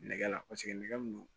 Nɛgɛ la nɛgɛ min don